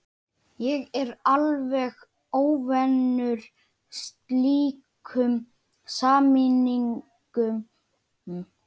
Ég er alveg óvanur slíkum samningum.